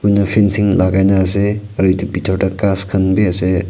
noh fencing lagaina ase aro eto pitor teh khas kanbe ase.